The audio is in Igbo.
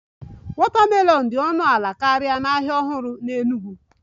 Watermelon dị ọnụ ala karịa n'ahịa ọhụrụ n'Enugwu